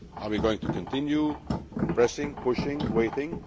Are we going to continue pressing, pushing, waiting?